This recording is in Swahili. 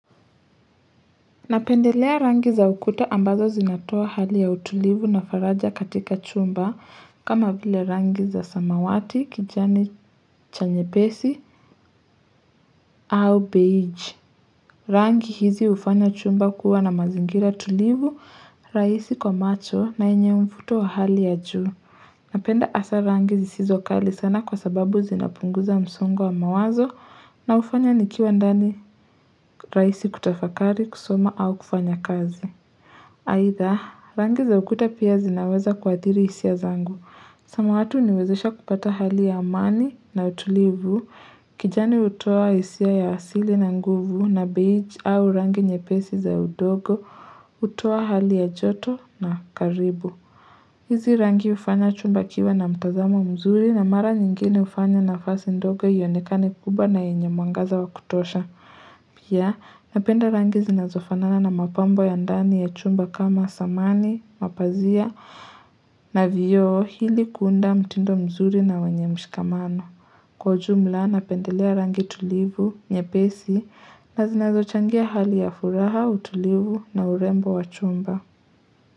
Napendelea rangi za ukuta ambazo zinatoa hali ya utulivu na faraja katika chumba kama vile rangi za samawati kijani cha nyepesi au beige. Rangi hizi hufanya chumba kuwa na mazingira tulivu, raisi kwa macho na yenye mvuto wa hali ya juu. Napenda asa rangi zisizo kali sana kwa sababu zinapunguza msongo wa mawazo na hufanya nikiwa ndani raisi kutafakari kusoma au kufanya kazi. Aitha, rangi za ukuta pia zinaweza kuathiri hisia zangu. Samawati huniwezesha kupata hali ya amani na utulivu, kijani hutoa hisia ya asili na nguvu na beige au rangi nyepesi za udogo, hutoa hali ya joto na karibu. Hizi rangi hufanya chumba kiwe na mtazamo mzuri na mara nyingine hufanya nafasi ndogo ionekane kubwa na yenye mwangaza wa kutosha. Pia napenda rangi zinazofanana na mapambo ya ndani ya chumba kama samani, mapazia na vioo ili kuunda mtindo mzuri na wenye mshikamano Kwa ujumla napendelea rangi tulivu nyepesi na zinazochangia hali ya furaha utulivu na urembo wa chumba.